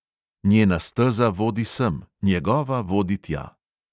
Njena steza vodi sem, njegova vodi tja.